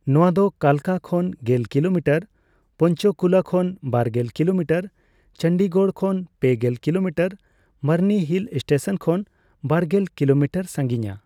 ᱱᱚᱣᱟ ᱫᱚ ᱠᱟᱞᱠᱟ ᱠᱷᱚᱱ ᱜᱮᱞ ᱠᱤᱞᱳᱢᱤᱴᱟᱨ, ᱯᱚᱧᱪᱚᱠᱩᱞᱟ ᱠᱷᱚᱱ ᱵᱟᱨᱜᱮᱞ ᱠᱤᱞᱳᱢᱤᱴᱟᱨ, ᱪᱚᱱᱰᱤᱜᱚᱲ ᱠᱷᱚᱱ ᱯᱮᱜᱮᱞ ᱠᱤᱞᱳᱢᱤᱴᱟᱨ, ᱢᱚᱨᱱᱤ ᱦᱤᱞ ᱥᱴᱮᱹᱥᱚᱱ ᱠᱷᱚᱱ ᱵᱟᱨᱜᱮᱞ ᱠᱤᱞᱳᱢᱤᱴᱟᱨ ᱥᱟᱸᱜᱤᱧᱟ ᱾